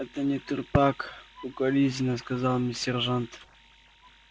это не трупак укоризненно сказал мне сержант